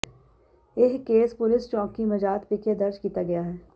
ਇਹ case police ਚੌਕੀ ਮਜਾਤ ਵਿਖੇ ਦਰਜ ਕੀਤਾ ਗਿਆ ਹੈ